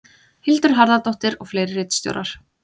Hildur Harðardóttir og fleiri ritstjórar.